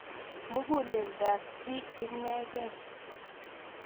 Muguuleeldo ap chi ineegei